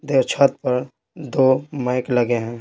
दे छत पर दो मैक लगे हैं।